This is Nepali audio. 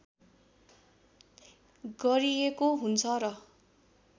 गरिएको हुन्छ र